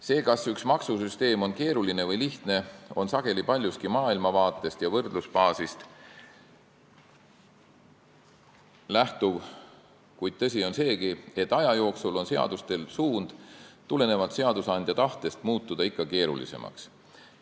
See, kas üks maksusüsteem on keeruline või lihtne, on sageli paljuski maailmavaatest ja võrdlusbaasist lähtuv, kuid tõsi on seegi, et aja jooksul kipuvad seadused seadusandja tahtest tulenevalt ikka keerulisemaks muutuma.